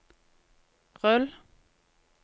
rull